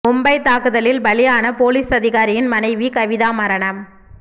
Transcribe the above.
மும்பை தாக்குதலில் பலியான போலீஸ் அதிகாரியின் மனைவி கவிதா மரணம்